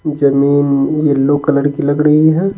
जमीन yellow colour की लग रही है।